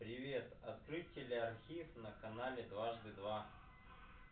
привет открыть телеархив на канале дважды два